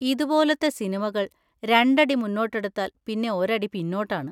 ഇതുപോലത്തെ സിനിമകൾ രണ്ടടി മുന്നോട്ടെടുത്തൽ പിന്നെ ഒരടി പിന്നോട്ടാണ്.